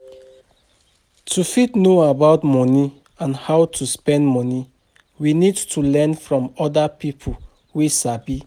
To fit know about money and how to spend money we need to learn from oda pipo wey sabi